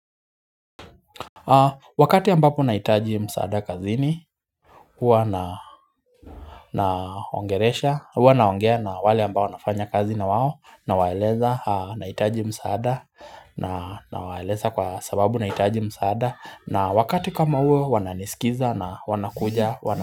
Wakati ambapo nahitaji msaada kazini huwa ninaongelesha huwa naongea na wale ambao nafanya kazi na wao na waeleza nahitaji msaada nawaeleza kwa sababu nahitaji msaada na wakati kama huo wananisikiza na wanakuja.